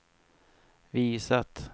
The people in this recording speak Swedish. visat